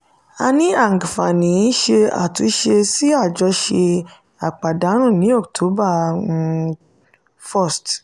a ní àǹfààní ṣe àtúnṣe sí àjọṣe àpàdánù ní october um 1st